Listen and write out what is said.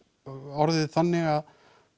orðið þannig